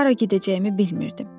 Hara gedəcəyimi bilmirdim.